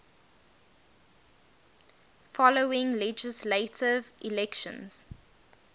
following legislative elections